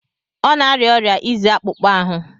Ọ na-arịa ọrịa izi akpụkpọ ahụ.